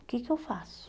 O que que eu faço?